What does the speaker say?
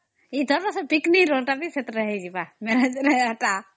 ଅମ୍